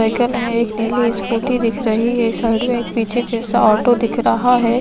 Cycle है नीली scooty दिख रही है साइड में एक पीछे ऑटो दिख रहा है।